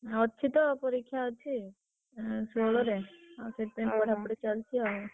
ଅଛି ତ ପରୀକ୍ଷା ଅଛି, ଉଁ ଷୋହଳରେ ସେଥିପାଇଁ ପଢାପଢି ଚାଲିଛି ଆଉ।